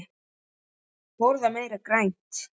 Borða meira grænt.